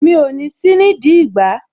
Mi ò ní sí nídìí ìgbá